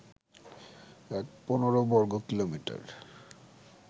১৫ বর্গকিলোমিটার